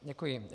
Děkuji.